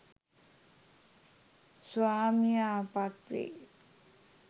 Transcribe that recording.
ස්වාමියා පත්වෙයි.